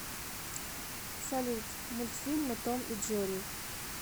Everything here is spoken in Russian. салют мультфильмы том и джери